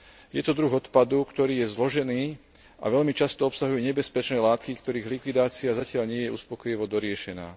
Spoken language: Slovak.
Je to druh odpadu, ktorý je zložený a veľmi často obsahuje nebezpečné látky, ktorých likvidácia zatiaľ nie je uspokojivo doriešená.